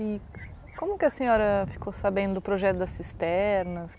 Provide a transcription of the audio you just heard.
E como que a senhora ficou sabendo do projeto das cisternas?